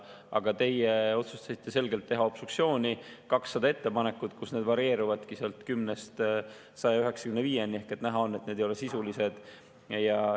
Aga teie otsustasite selgelt teha obstruktsiooni, 200 ettepanekut, kus need varieeruvad 10-st 195-ni – näha on, et need ei ole sisulised.